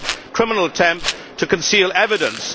criminal attempt to conceal evidence.